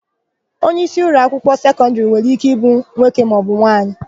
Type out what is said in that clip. Onyeisi ụlọakwụkwọ sekọndịrị nwere íké ịbụ nwoke maọbụ nwaanyị.